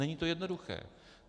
Není to jednoduché.